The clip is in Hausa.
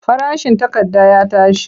Farashin takarda ya tashi.